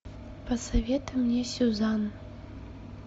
посоветуй мне сюзанн